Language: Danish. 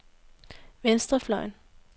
venstrefløjen